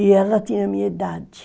E ela tinha a minha idade.